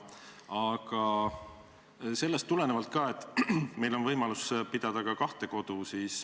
Aga eelnevast tulenevalt: meil on võimalus pidada ka kahte kodu.